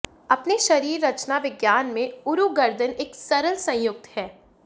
अपने शरीर रचना विज्ञान में ऊरु गर्दन एक सरल संयुक्त है